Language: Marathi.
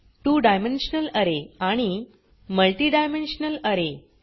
त्वो डायमेन्शनल अरे आणि multi डायमेन्शनल अरे